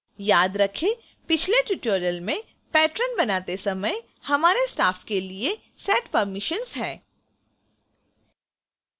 याद रखें पिछले tutorial में patron बनाते समय हमारे staff के लिए set permissions है